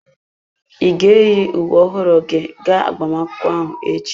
Ị ga-eyi uwe ọhụrụ gị ga agbamakwụkwọ ahụ echi?